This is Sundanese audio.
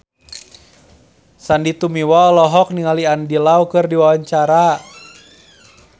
Sandy Tumiwa olohok ningali Andy Lau keur diwawancara